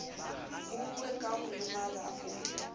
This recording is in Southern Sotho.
buuwe ka ho lemala o